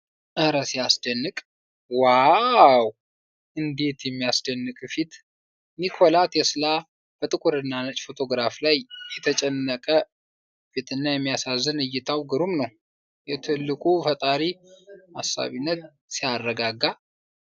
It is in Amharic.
ኧረ ሲያስደንቅ! ዋው! እንዴት የሚያስደንቅ ፊት! ኒኮላ ቴስላ በጥቁርና ነጭ ፎቶግራፍ ላይ ። የተጨነቀ ፊትና የሚያሳዝን እይታው ግሩም ነው!። የትልቁ ፈጣሪ አሳቢነት ሲያረጋጋ!